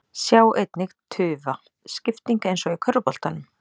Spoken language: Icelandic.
Sjá einnig: Tufa: Skipting eins og í körfuboltanum